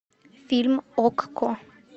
фильм окко